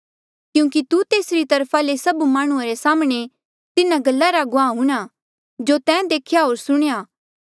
क्यूंकि तू तेसरी तरफा ले सभ माह्णुं रे साम्हणें तिन्हा गल्ला रा गुआह हूंणां जो तैं देख्या होर सुणेया